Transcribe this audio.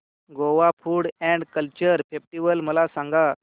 Goa food and culture festival मला सांगा